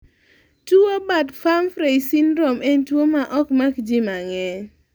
tuwo Bart-Pumphrey syndrome en tuwo ma okmak ji mang'eny